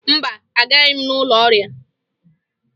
Mba, agaghị m n'ụlọ ọrịa